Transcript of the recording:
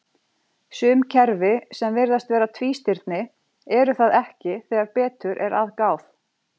Sum kerfi sem virðast vera tvístirni eru það ekki þegar betur er að gáð.